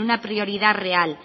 una prioridad real